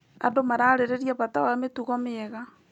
Andũ mararĩrĩriabata wa mĩtugo mĩega.